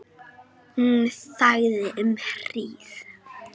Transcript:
Hún þagði um hríð.